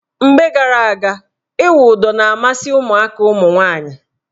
Mgbe gara aga, ịwụ ụdọ na-amasị ụmụaka ụmụnwaanyị.